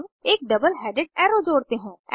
अब एक double headed arrow जोड़ते हैं